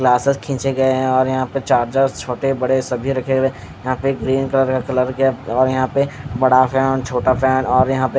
glasses खींचे गए और यहाँ पे चार्जेर्स छोटे बड़े सभी रखे हुए है यहाँ पे ग्रीन कलर का और यहाँ पे बड़ा सा छोटा फैन और यहाँ पे--